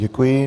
Děkuji.